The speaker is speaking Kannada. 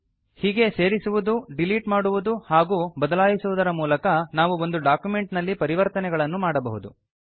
ಹೀಗೆಯೇ ಸೇರಿಸುವುದು ಡೀಲೀಟ್ ಮಾಡುವುದು ಹಾಗೂ ಬದಲಾಯಿಸುವುದರ ಮೂಲಕ ನಾವು ಒಂದು ಡಾಕ್ಯುಮೆಂಟ್ ನಲ್ಲಿ ಪರಿವರ್ತನೆಗಳನ್ನು ಮಾಡಬಹುದು